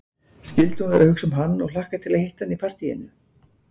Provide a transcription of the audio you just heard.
Skyldi hún vera að hugsa um hann og hlakka til að hitta hann í partíinu?